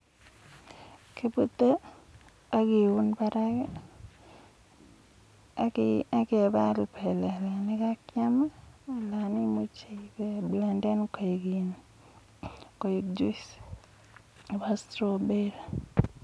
kibote ak keun barak ak kebal kebelik ak kiam anan kimuch kechob koek juice che bo straw berry